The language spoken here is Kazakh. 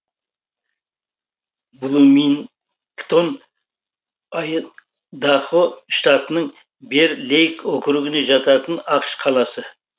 блумингтон айдахо штатының бэр лейк округіне жататын ақш қаласы